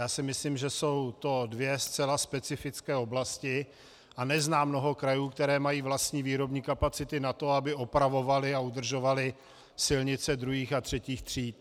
Já si myslím, že jsou to dvě zcela specifické oblasti, a neznám mnoho krajů, které mají vlastní výrobní kapacity na to, aby opravovaly a udržovaly silnice druhých a třetích tříd.